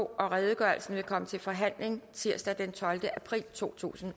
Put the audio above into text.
redegørelsen vil komme til forhandling tirsdag den tolvte april totusinde